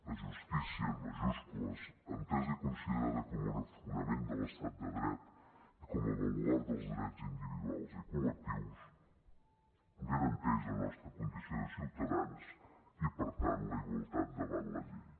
la justícia en majúscules entesa i considerada com un fonament de l’estat de dret i com a baluard dels drets individuals i col·lectius garanteix la nostra condició de ciutadans i per tant la igualtat davant la llei